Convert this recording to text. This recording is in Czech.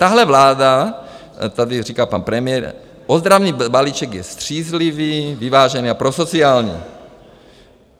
Tahle vláda - tady říká pan premiér: "Ozdravný balíček je střízlivý, vyvážený a prosociální."